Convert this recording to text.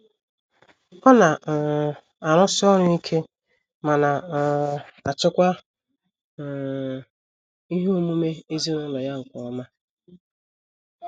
Ọ na um - arụsi ọrụ ike ma na um - achịkwa um ihe omume ezinụlọ ya nke ọma.